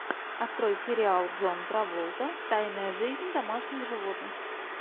открой сериал джон траволта тайная жизнь домашних животных